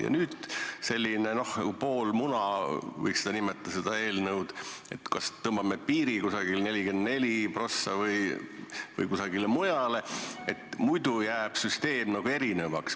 Ja nüüd on selline poolmuna, nii võiks nimetada seda eelnõu, et tõmbame piiri 44% peale või kusagile mujale, muidu jääb süsteem nagu erinevaks.